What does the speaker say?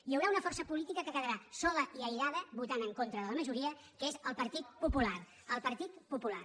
hi haurà una força política que quedarà sola i aïllada votant en contra de la majoria que és el partit popular el partit popular